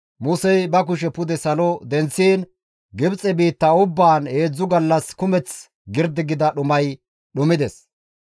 Musey ba kushe pude salo denththiin Gibxe biitta ubbaan heedzdzu gallas kumeth girdi gida dhumay dhumides.